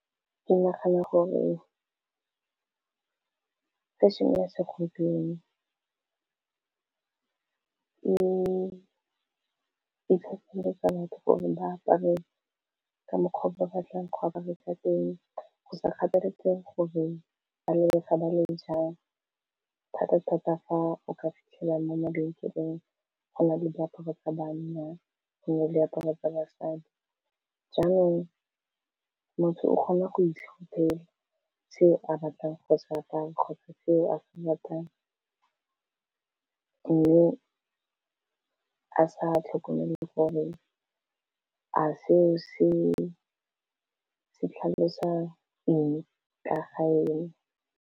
Ke nagana gore fashion-e ya segompieno e kgatlile thata gore ba apare ka mokgwa o ba batlang ga ba dirisa teng go sa kgathalesege gore ba lebega ba le jang thata-thata fa o ka fitlhela mo mabenkeleng go na le diaparo tsa banna gonne diaparo tsa basadi jaanong motho o kgona go itlhopela se a batlang kgotsa kae kgotsa ko a batlang mme a sa tlhokomele gore a seo se tlhalosa enge ka ga e ne.